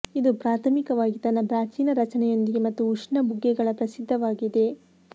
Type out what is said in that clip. ಇದು ಪ್ರಾಥಮಿಕವಾಗಿ ತನ್ನ ಪ್ರಾಚೀನ ರಚನೆಯೊಂದಿಗೆ ಮತ್ತು ಉಷ್ಣ ಬುಗ್ಗೆಗಳ ಪ್ರಸಿದ್ಧವಾಗಿದೆ